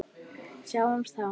Sjáumst þá.